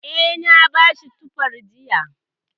Eh, na bashi tufar jiya.